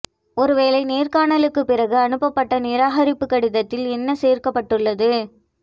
ஒரு வேலை நேர்காணலுக்கு பிறகு அனுப்பப்பட்ட நிராகரிப்பு கடிதத்தில் என்ன சேர்க்கப்பட்டுள்ளது